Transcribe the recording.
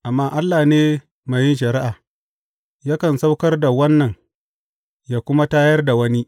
Amma Allah ne mai yin shari’a, yakan saukar da wannan, yă kuma tayar da wani.